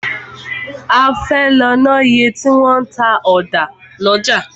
A fẹ́ lọ ná iye tí wọn ń ta ọ̀dà lọ́jà.